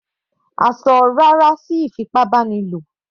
A ṣọ "rárá" sí ìfipábánilò.